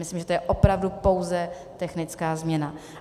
Myslím, že to je opravdu pouze technická změna.